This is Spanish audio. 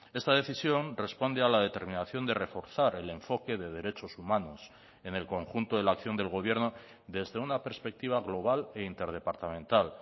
esta decisión responde a la determinación de reforzar el enfoque de derechos humanos en el conjunto de la acción del gobierno desde una perspectiva global e interdepartamental